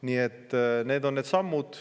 Nii et need on need sammud.